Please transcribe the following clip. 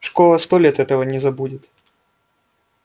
школа сто лет этого не забудет